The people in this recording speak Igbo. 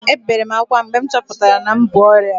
Ebere m akwa mgbe m chọpụtara na m bu ọrịa